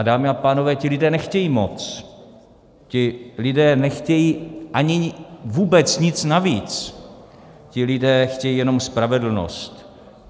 A dámy a pánové, ti lidé nechtějí moc, ti lidé nechtějí ani vůbec nic navíc, ti lidé chtějí jenom spravedlnost.